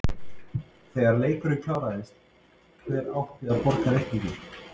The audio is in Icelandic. Þegar leikurinn kláraðist, hver átti að borga reikninginn?